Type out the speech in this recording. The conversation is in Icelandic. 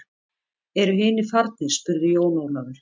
Eru hinir farnir spurði Jón Ólafur.